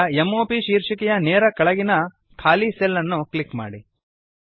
ಈಗ m o ಪ್ ಶೀರ್ಷಿಕೆಯ ನೇರ ಕೆಳಗಿನ ಖಾಲಿ ಸೆಲ್ ಅನ್ನು ಕ್ಲಿಕ್ ಮಾಡಿ